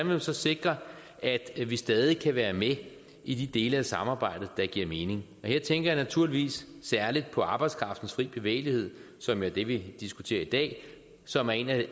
man så sikre at vi stadig kan være med i de dele af samarbejdet der giver mening her tænker jeg naturligvis særlig på arbejdskraftens fri bevægelighed som er det vi diskuterer i dag og som er en af